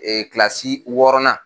wɔɔrɔnan.